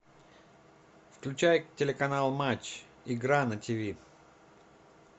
включай телеканал матч игра на тиви